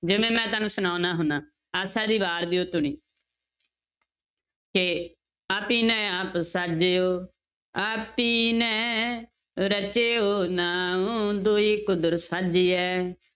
ਜਿਵੇਂ ਮੈਂ ਤੁਹਾਨੂੰ ਸੁਣਾਉਨਾ ਹੁੰਦਾ, ਆਸਾ ਦੀ ਵਾਰ ਦੀ ਉਹ ਧੁਨੀ ਕਿ ਆਪੀਨੈ ਆਪੁ ਸਾਜਿਓ ਆਪੀਨੈ ਰਚਿਓ ਨਾਉ, ਦੁਯੀ ਕੁਦਰਤਿ ਸਾਜੀਐ